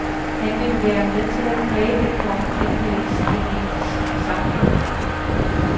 Han vil være med til at præge det kommende palæstinensiske samfund.